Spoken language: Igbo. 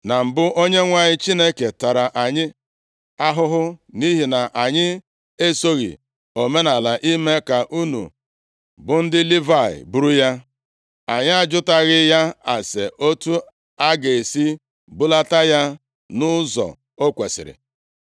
Na mbụ, Onyenwe anyị Chineke tara anyị ahụhụ nʼihi na anyị esoghị omenaala ime ka unu bụ ndị Livayị buru ya. Anyị ajụtaghị ya ase otu a ga-esi bulata ya nʼụzọ o kwesiri.”